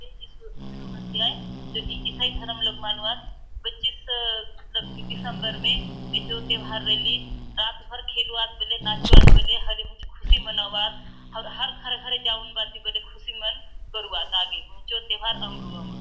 ए यीशु यीशु मसीह आय द ईसाई धर्म लोक मानुआत पच्चीस स मतलब दिसम्बर मे ए चो तेवार रली रात भर खेलुआत बले नाचुआत बले हरिक चो खुशी मनाऊआत आउर घर - घर जाऊंन भांति खुशी मन करूआत आगे हुंचो तेवार अमरु अमरु --